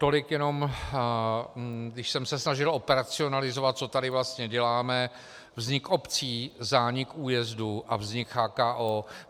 Tolik jenom, když jsem se snažil racionalizovat, co tady vlastně děláme, vznik obcí, zánik újezdů a vznik CHKO.